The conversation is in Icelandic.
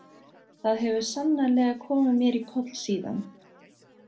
Það hefur sannarlega komið mér í koll síðan.